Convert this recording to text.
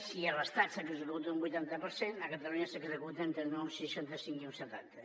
si a l’estat s’executa un vuitanta per cent a catalunya s’executa entre un seixanta cinc i un setanta